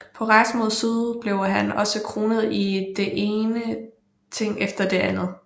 På rejsen mod syd blev han også kronet i det ene ting efter det andet